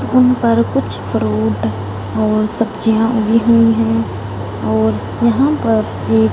उन पर कुछ फ्रूट और सब्जियां उगी हुई है और यहां पर एक--